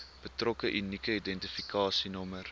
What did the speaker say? betrokke unieke identifikasienommer